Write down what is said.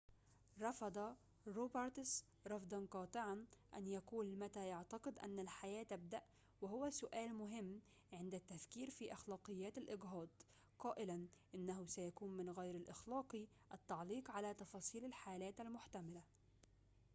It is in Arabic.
رفض روبرتس رفضاً قاطعاً أن يقول متى يعتقد أن الحياة تبدأ وهو سؤال مهم عند التفكير في أخلاقيات الإجهاض قائلاً إنه سيكون من غير الأخلاقي التعليق على تفاصيل الحالات المحتملة